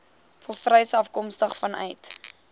volstruise afkomstig vanuit